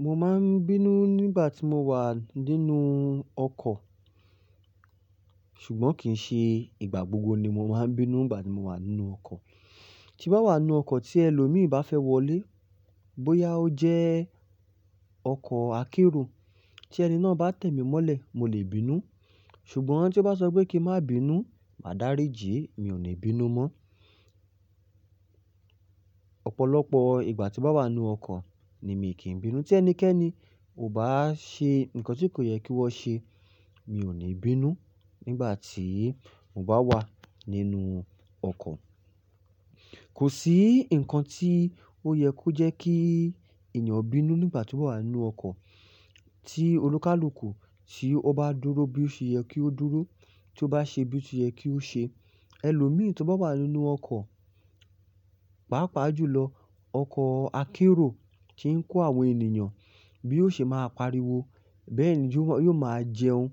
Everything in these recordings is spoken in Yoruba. Mo máa ń bínú nígbà tí mo wà nínú ọkọ̀. Ṣùgbọ́n kì í ṣe ìgbà gbogbo ni mo máa ń bínú nígbà tí mo wà nínú ọkọ̀. Tí n bá wà nínú ọkọ̀ tí ẹlòmíì bá fẹ́ wọlé, bóyá ó jẹ́ ọkọ̀ akérò, tí ẹni náà bá tẹ̀mí mọ́lẹ̀, mo lè bínú. Ṣùgbọ́n tí o bá sọ pé kí n má bínú, màá dáríji, mi ò ní bínú mọ́. Ọ̀pọ̀lọpọ̀ ìgbà tí bá wà nínú ọkọ̀ ni mi kì í bínú. Tí ẹnikẹ́ni ò bá ṣe nǹkan tí kò yẹ kí wọ́n ṣe, mi ò ní bínú nígbà tí mo bá wà nínú ọkọ̀. Kò sí nǹkan tí ó yẹ kó jẹ́ kí èèyàn bínú nígbà tí ó wà nínú ọkọ̀. Tí olùkálùkù ṣe ó bá dúró bí ó ṣe yẹ kí ó dúró, tí ó bá ṣe bí ó ti yẹ kí ó ṣe. Ẹlòmíì tí ó bá wà nínú ọkọ̀, pàápàá jùlọ ọkọ̀ akérò tí ń kó àwọn ènìyàn, bí ó ṣe máa pariwo, bẹ́ẹ̀ ni yóò máa jẹun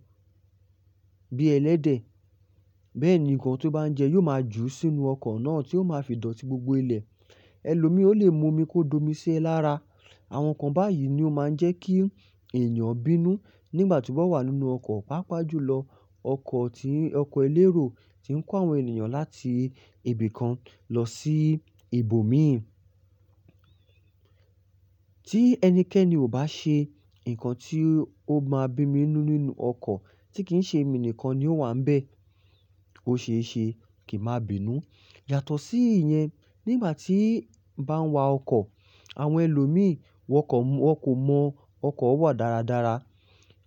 bí ẹlẹ́dẹ̀. Bẹ́ẹ̀ ni nǹkan tí ó bá ń jẹ yóò máa jù sínú ọkọ̀ náà tí ó máa fi dọ̀tí gbogbo ilẹ̀. Ẹlòmíì ó lè mu omi kó domi si é alára. Àwọn nǹkan báyìí ni ó máa ń jẹ́ kí èèyàn bínú nígbà tí ó bá wà nínú ọkọ̀, pàápàá jùlọ ọkọ̀ tí-- ọkọ̀ elérò tí ń kó àwọn ènìyàn láti ibì kan lọ sí ibòmíràn. Tí ẹnikẹ́ni ò bá ṣe nǹkan tí ó máa bí mi bínú nínú ọkọ̀ tí kì í ṣe mi nìkan ni ó wà ń bẹ́ẹ̀, ó ṣe é ṣe kí a má bínú. Yàtọ̀ sí ìyẹn, nígbà tí n bá ń wa ọkọ̀, àwọn ẹlòmíì wọ́n kò mọ ọkọ̀ wà dáradára.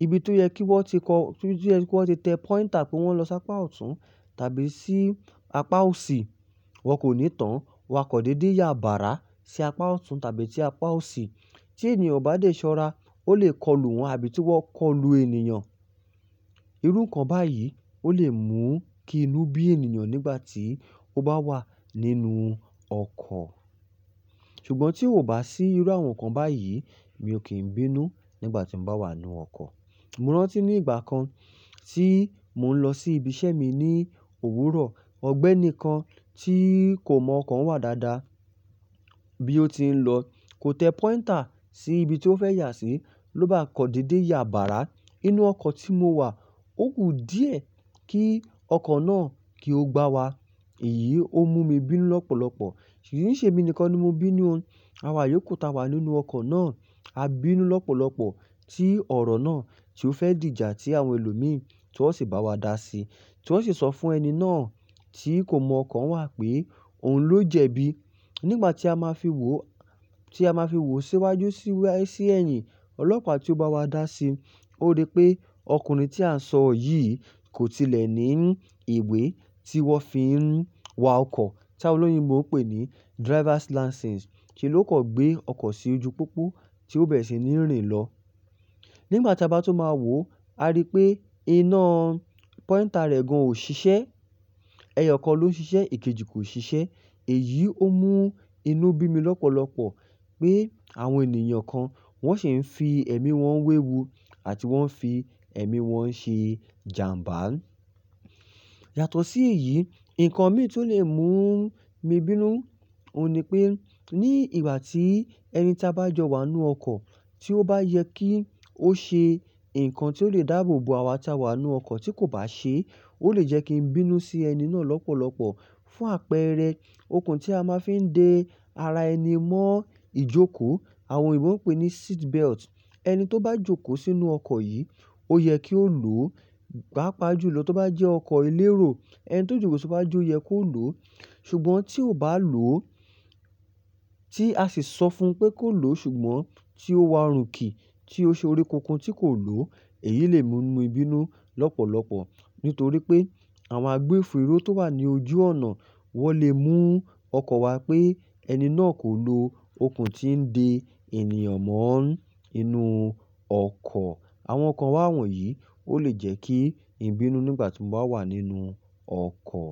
Ibi tí ó yẹ kí wọ́n ti kọ́, ibi ti ó yẹ kí wọ́n ti tẹ póinter, kí wọ́n lọ sí apá ọ̀tún tàbí sí apá òsì, wọ́n kò ní tán. Wọ́n a kan dédé ya bàrà sí apá ọ̀tún tàbí sí apá òsì. Tí èniyan o bá dé ṣọ́ra, ó lè kọlù wọ́n àbí ki wọ́n kọlù eniyan. Irun kan báyìí ó lè mú kí inú bí èniyan nígbà tí ó bá wà nínú ọkọ̀. Ṣùgbọ́n tí ó bá sí irú àwọn nǹkan báyìí, mi ò kí ń bínú nígbà tí mo bá wà nínú ọkọ̀. Mo rántí ní ìgbà kan tí mò ń lọ sí ibi iṣẹ́ mi ní òwúrọ̀. Ọ̀gbẹ́ni kan tí kò mọ ọkọ̀ wà dáadáa bí ó ti ń lọ kò tẹ póinter sí ibi tí ó fẹ́ yà sí ló bá kọ̀ dédé ya bàrà nínú ọkọ̀ tí mo wà. Ó ku díẹ̀ kí ọkọ̀ náà kí ó gbá wa. Èyí ó mú mi bínú lọ́pọ̀lọpọ̀. Kì n ṣe eminìkan ni mo bínú o Àwa yóò ku, ta wà nínú ọkọ̀ náà. A bínú lọ́pọ̀lọpọ̀ tí ọ̀rọ̀ náà tí ó fẹ́ dìjà tí àwọn ẹlòmíì tí wọ́n sì bá wa dá sí, tí wọ́n sì sọ fún ẹni náà tí kò mọ ọkọ̀ wà pé òun ló jẹbi. Nígbà tí a máa fi wò, tí a máa fi wò síwájú sí ẹ̀yìn ọlọ́pàá tí ó bá wa dá sí, ó rí pé ọkùnrin tí a ń sọ yìí kò tilẹ̀ ní ìwé tí wọ́n fi ń wa ọkọ̀ tí àwọn olóyinbo n pé ní driver's license, se ló kan gbé ọkọ̀ sí ojú pópó tí ó bẹ̀rẹ̀ sí ní rìn lọ. Nígbà tí a bá tún máa wò, a rí pé iná póínter rẹ̀ gan ò ṣiṣẹ́. Ẹyọ kan ló ń ṣiṣẹ́, ìkejì kò ṣiṣẹ́. Èyí ó mú inú bí mi lọ́pọ̀lọpọ̀ pé àwọn ènìyàn kan wọ́n sì ń fi ẹ̀mí wọn wéwu àti wọ́n ń fi ẹ̀mí wọn ṣe jàmbá. Yàtọ̀ sí èyí, nǹkan mìíràn tí ó lè mú mi bínú òun ni pé ní ìgbà tí ẹni tí a bá jọ wà nínú ọkọ̀ tí ó bá yẹ kí ó ṣe nǹkan tí ó lè dáàbò bo àwa tí a wà nínú ọkọ̀ tí kò bá ṣe, ó lè jẹ́ kí n bínú sí ẹni náà lọ́pọ̀lọpọ̀. Fún àpẹẹrẹ, okùn tí a máa fi ń de ara ẹni mọ́ ìjókòó àwọn oyinbo n pè ní seat belt. Ẹni tí ó bá jókòó sínú ọkọ̀ yìí ó yẹ kí ó lòó, pàápàá jùlọ tó bá jẹ́ ọkọ̀ elérò ẹni tó jókòó sì iwaju o yẹ kó lòó. Ṣùgbọ́n tí ò bá lòó, tí a sì ṣọ fun pé kó lòó ṣùgbọ́n tí ó wa rùnkì tí ó ṣe oríkunkun tí kò lòó, èyí lè mú mí bínú lọ́pọ̀lọpọ̀ nítorí pé àwọn agbófinró tó wà ní ojú ònà wọ́n lè mú ọkọ̀ wa pé ẹni náà kò lo okùn tí ń de ènìyàn mọ́ inú ọkọ̀. Àwọn nǹkan wáwọn yìí ó lè jẹ́ kí n bínú nígbà tí mo bá wà nínú ọkọ̀.